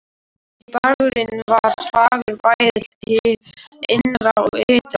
Dagurinn var fagur bæði hið innra og ytra.